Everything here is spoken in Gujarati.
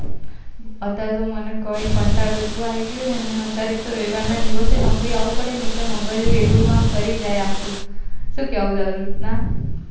અત્યારે તો મન કઈ કંટારો એટલો આવી ગયો ને અત્યારે એક તો રવિવાર ના દિવસે નોકરી આવું પડે ને એટલે મગજ એવું આમ ફરી જાય આખું શું કેવું તારું ના